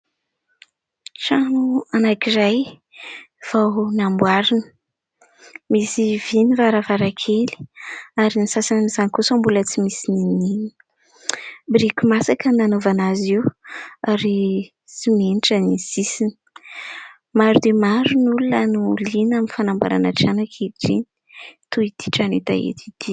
Trano anankiray, vao namboarina. Misy vy ny varavarankely, ary ny sasany amin'izany kosa mbola tsy misy na inona na inona; biriky masaka ny nanaovana azy io, ary simenitra ny sisiny. Maro dia maro ny olona no liana amin'ny fanamboarana trano ankehitriny, toy ity trano hita eto ity.